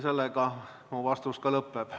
Sellega mu vastus ka lõpeb.